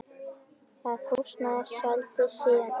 Það húsnæði seldist síðan ódýrt.